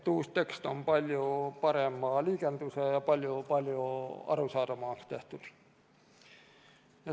Uus tekst on palju parema liigendusega ja palju arusaadavamaks tehtud.